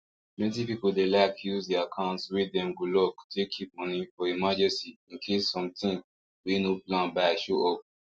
plenty people dey like use the account wey dem go lock take keep money for emergency in case some thing wey no plan buy show up